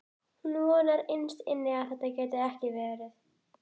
Hún vonar innst inni að þetta geti ekki verið.